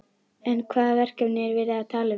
En hvaða verkefni er verið að tala um?